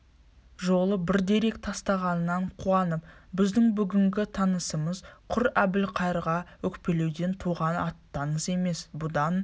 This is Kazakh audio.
жолы бір дерек тастағанына қуанып біздің бүгінгі аттанысымыз құр әбілқайырға өкпелеуден туған аттаныс емес бұдан